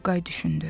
Turqay düşündü.